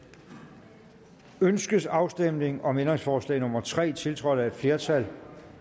ønskes afstemning om ændringsforslag nummer tre tiltrådt af et flertal